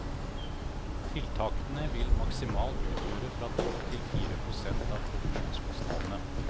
Tiltakene vil maksimalt utgjøre fra to til fire prosent av produksjonskostnadene.